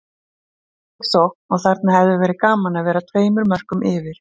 Frábær sókn og þarna hefði verið gaman að vera tveimur mörkum yfir.